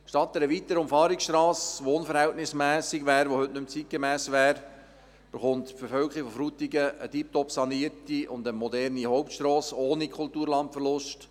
Statt einer weiteren Umfahrungsstrasse, die unverhältnismässig und heute nicht mehr zeitgemäss wäre, erhält die Bevölkerung von Frutigen eine tipptopp sanierte, moderne Hauptstrasse ohne Kulturlandverlust.